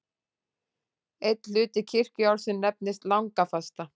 Einn hluti kirkjuársins nefnist langafasta.